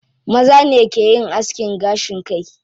Maza ne ke yin askin gashin kai.